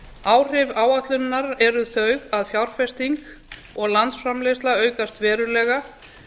áhrif áætlunarinnar eru þau að fjárfesting og landsframleiðsla aukast verulega